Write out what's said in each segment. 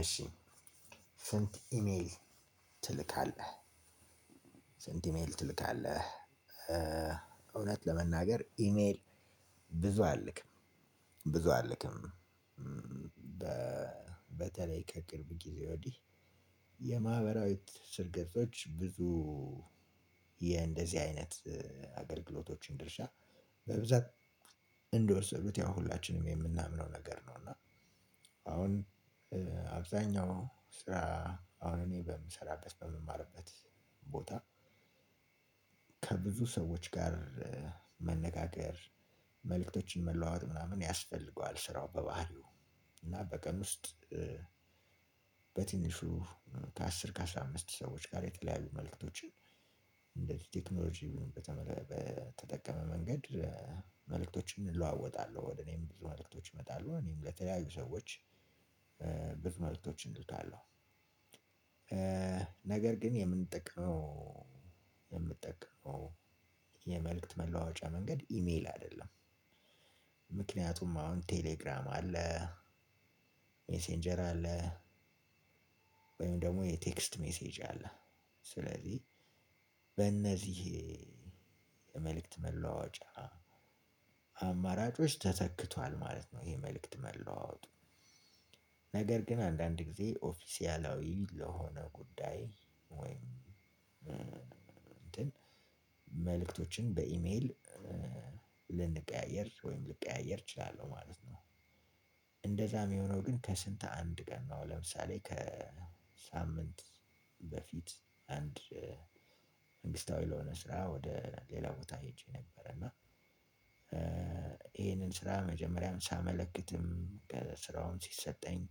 እሺ ስንት ኢሜል ትልካለህ ስንት ኢሜል ትልካለህ እውነት ለመናገር ኢሜል ብዙ አልልክም ብዙ አልልክም በተለይ ከቅርብ ጊዜ ወዲህ የማህበራዊ ትስስር ገጾች ብዙ የእንደዚህ አይነት አገልግሎቶችን ድርሻ በብዛት እንደወሰዱት ያው ሁላችንም የምናምነው ነገር ነው እና አሁን አብዛኛው ስራ አሁን እኔ በምሰራበት በምማርበት ቦታ ከብዙ ሰዎች ጋር መነጋገር መልእክቶችን መለዋወጥ ምናምን ያስፈልገዋል ስራው በባህሪው እና በቀን ውስጥ በትንሹ ከ አስር ከ አስራ አምስት ሰዎች ጋር የተለያዩ መልእክቶችን እንደዚህ ቴክኖሎጂ በተጠቀመ መንገድ እለዋወጣለሁ ወደ እኔም ብዙ መልእክቶች እመጣለሁ እኔም ለተያዩ ሰዎች ብዙ መልእክቶችን እልካለሁ። ነገር ግን የምንጠቀመው የምንጠቀመው የመልእክት መለዋጫ መንገድ ኢሜል አይደለም ምክንያቱም አሁን ቴሌግራም አለ ሜሴንጀር አለ ወይም ደግሞ የቴክስት ሜሴጅ አለ ስለዚህ በእነዚህ የመልእክት መለዋጫ አማራጮች ተተክቷል ማለት ነው ይሄ መልእክት መለዋወጡ ነገር ግን አንዳንድ ጊዜ ኦፊሳላዊ ለሆነ ጉዳይ ወይም እንትን መልእክቶችን በኢሜል ልንቀያየር ወይም ልቀያየር እችላለሁ ማለት ነው። እንደዛ የሚሆነው ግን ከስንት አንድ ቀን ነው ለምሳሌ ከሳምንት በፊት አንድ መንግስታዊ ለሆነ ስራ ወደ ሌላ ቦታ ሄጄ ነበረ እና ይሄንን ስራ መጀመሪያውን ሳመለክትም ስራውን ሲሰጠኝ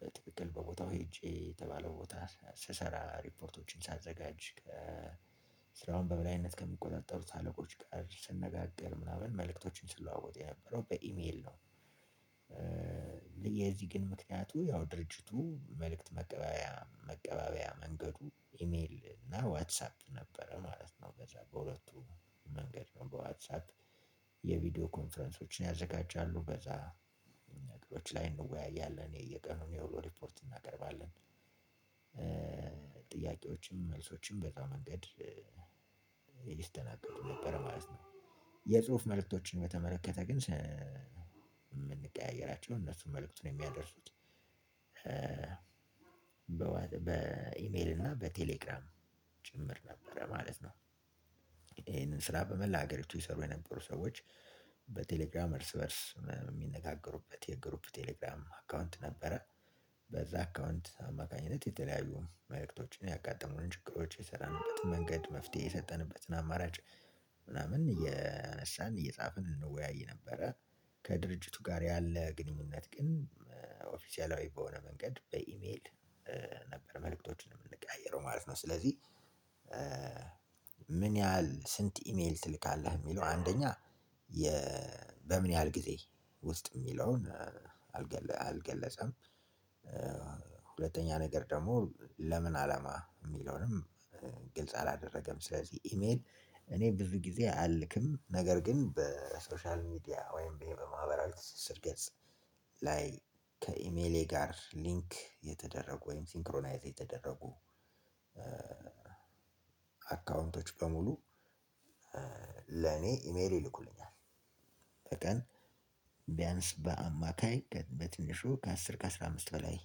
በትክክል በቦታው ሄጄ የተባለው ቦታ ስሰራ ሪፖርቶችን ሳዘጋጅ ስራውን በበላይነት ከሚቆጣጠሩት አለቆች ጋር ስነጋገር ምናምን መልእክቶችን ስለዋወጥ የነበረው በኢሜል ነው። ለዚህ ግን ምክንያቱ ያው ድርጅቱ መልእክት መቀበያ መቀበያ መንገዱ ኢሜል እና ዋትሳፕ ነበረ ማለት ነው በዛ በሁለቱ መንገድ ነው በዋትሳፕ የቪዲዮ ኮንፈረንሶችን ያዘጋጃሉ በዛ ነገሮች ላይ እንወያያለን የየቀኑን የውሎ ሪፖርት እናቀርባለን ጥያቄዎችም መልሶችም በዛ መንገድ ይስተናገዱ ነበረ ማለት ነው። የጽሁፍ መልእክቶችን በተመለከተ ግን የምንቀያየራቸው እነሱን መልእክቱን የሚያደርሱት በኢሜል እና በቴሌግራም ጭምር ነበረ ማለት ነው። ይሄንን ስራ በመላ ሀገሪቱ ይሰሩ የነበሩ ሰዎች በቴሌግራም እርስ በእርስ የሚነጋገሩበት የግሩፕ ቴሌግራም አካውንት ነበረ። በዛ አካውንት አማካኝነት የተለያዩ መልእክቶችን ያጋጠሙን ችግሮች የሰራንበት መንገድ መፍትሄ የሰጠንበትን አማራጭ ምናምን እያነሳን እየጻፍን እንወያይ ነበረ ከድርጅቱ ጋር ያለ ግንኙነት ግን ኦፊሴላዊ በሆነ መንገድ በኢሜል ነበር መልእክቶችን የምንቀያየረው ማለት ነው ስለዚህ ምን ያህል ስንት ኢሜል ትልካለህ የሚለው አንደኛ በምን ያህል ጊዜ ውስጥ የሚለውን አልገ አልገለጸም ሁለተኛ ነገር ደግሞ ለምን አላማ የሚለውንም ግልጽ አላደረገም ስለዚህ ኢሜል እኔ ብዙ ጊዜ አልልክም ነገር ግን በሶሻል ሚዲያ ወይም በማህበራዊ ትስስር ገጽ ላይ ከኢሜሌ ጋር ሊንክ የተደረጉ ወይም ሲንክሮናይዝ የተደረጉ አካውንቶች በሙሉ ለኔ ኢሜል ይልኩልኛል። በቀን ቢያንስ በአማካይ በትንሹ ከ አስር ከ አስራ አምስት በላይ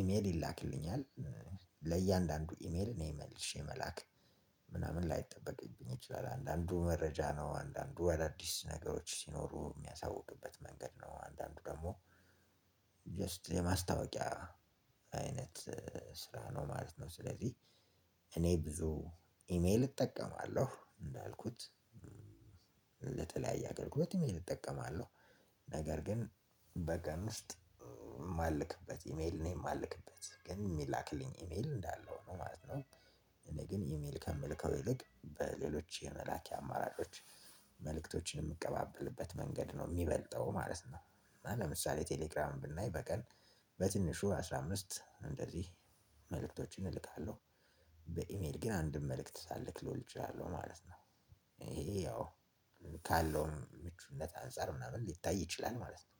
ኢሜል ይላክልኛል። ለእያንዳንዱ ኢሜል እኔ መልሼ መላክ ምናምን ላይጠበቅብኝ ይችላል አንዳንዱ መረጃ ነው አንዳንዱ አዳዲስ ነገሮች ሲኖሩ የሚያሳውቅበት መንገድ ነው አንዳንድ ደግሞ ጀስት የማስታወቂያ አይነት ስራ ነው ማለት ነው ስለዚህ እኔ ብዙ ኢሜል እጠቀማለሁ እንዳልኩት ለተለያየ አገልግሎት ኢሜል እጠቀማለሁ። ነገር ግን በቀን ውስጥ የማልከበት እሜል የማልከበት ግን የሚላክልኝ እሜል እንዳለ ነው ማለት ነው። እኔ ግን ኢሜል ከምልከው ይልቅ በሌሎች የመላኪያ አማራጮች መልእክቶችን የምቀባበልበት መንገድ ነው የሚበልጠው ማለት ነው እና ለምሳሌ ቴሌግራም ብናይ በቀል በትንሹ አስራ አምስት እንደዚህ እልካለሁ። በኢሜል ግን አንድም መልእክት ላልክ እችላለው ማለት ነው። ይሄ ያው ካለዉም ምቹነት አንፃር ምናምን ልታይ ይችላል ማለት ነው።